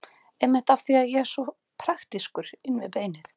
Einmitt af því að ég er svo praktískur inn við beinið.